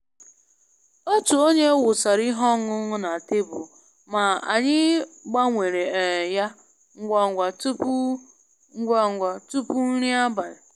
Otu onye wụsara ihe ọṅụṅụ na tebụl, ma anyị gbanwere um ya ngwa ngwa tupu ngwa ngwa tupu nri abalị